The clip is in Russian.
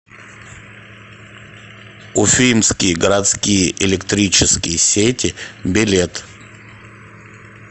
уфимские городские электрические сети билет